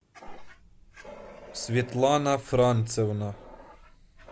светлана францевна